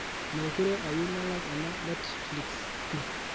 mekure ayieu nalak ena netflix pii